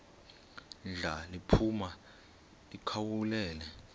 ndla liphuma likhawulele